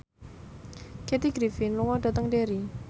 Kathy Griffin lunga dhateng Derry